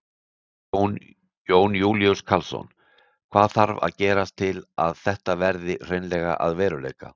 Jón Júlíus Karlsson: Hvað þarf að gerast til þess að þetta verði hreinlega að veruleika?